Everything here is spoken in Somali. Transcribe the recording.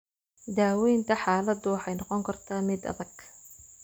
Daaweynta xaaladdu waxay noqon kartaa mid adag.